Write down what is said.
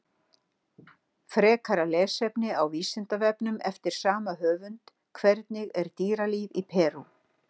Frekara lesefni á Vísindavefnum eftir sama höfund: Hvernig er dýralíf í Perú?